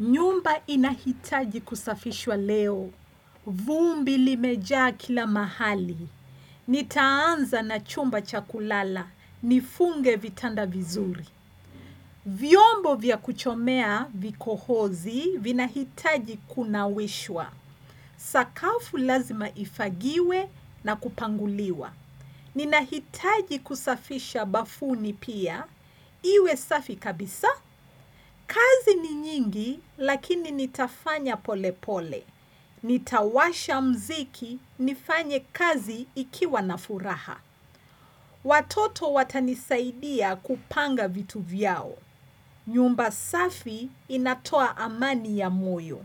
Nyumba inahitaji kusafishwa leo. Vumbi limejaa kila mahali. Nitaanza na chumba chakulala. Nifunge vitanda vizuri. Vyombo vya kuchomea vikohozi vinahitaji kunawishwa. Sakafu lazima ifagiwe na kupanguliwa. Ninahitaji kusafisha bafuni pia. Iwe safi kabisa. Kazi ni nyingi lakini nitafanya pole pole. Nitawasha mziki nifanye kazi ikiwa na furaha. Watoto watanisaidia kupanga vitu vyao. Nyumba safi inatoa amani ya moyo.